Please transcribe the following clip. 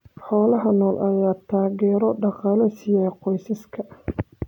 Xoolaha nool ayaa taageero dhaqaale siiya qoysaska.